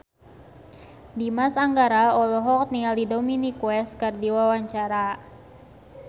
Dimas Anggara olohok ningali Dominic West keur diwawancara